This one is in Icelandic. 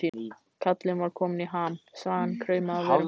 Kallinn var kominn í ham, sagan kraumaði á vörum hans.